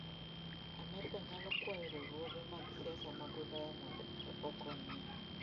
Amerka nyalo kwayo riwruoge mag siasa mag Ulaya mondo okonye.